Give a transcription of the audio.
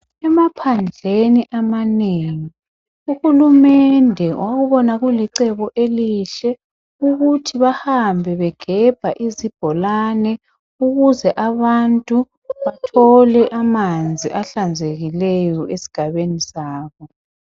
Emaphandleni amanengi uhulumende wakubona kulicebo elihle ukuthi bahambe begebha izibholane ukuze abantu bathole amanzi ahlanzekileyo esigabeni sabo.